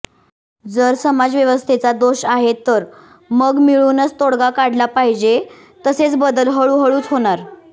जर समाजव्यवस्थेचा दोष आहे तर मग मिळूनच तोडगा काढला पाहीजे तसेच बदल हळूहळूच होणार